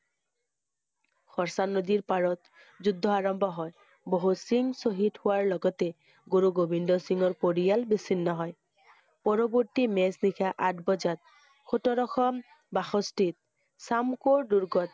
হৰ্ষ নদীৰ পাৰত, যুদ্ধ আৰম্ভ হয়। বহু সিংহ শ্বহীদ হোৱাৰ লগতে গুৰু গোবিন্দ সিংহৰ পৰীয়াৰ বিচ্ছিন্ন হয়। পৰবৰ্তী মাজ নিশা আঠ বজাত সোতৰশ বাষষ্ঠিত, সমকোৰ দুৰ্গত,